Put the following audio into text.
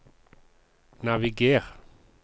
naviger